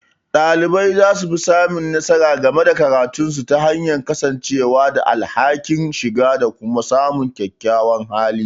Dalibai za su fi samun nasara game da karatunsu ta hanyar kasancewa da alhakin, shiga, da kuma samun kyakkyawan hali.